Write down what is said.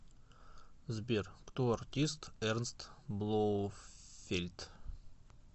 сбер кто артист эрнст блоуфельд